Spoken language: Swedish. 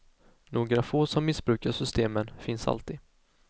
Några få som missbrukar systemen finns alltid.